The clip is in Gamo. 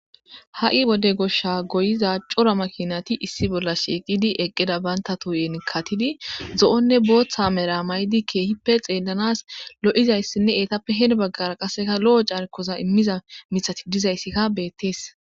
Ha'i wode gisah goyiya cora makinati issi bolla shiiqidi eqida banta tohen katid zi'onn ebootha Mera mayid kehippe xelans lo'ixaysinne etappe hen bagara qaseka lo'o carko imaza mithazika betishe des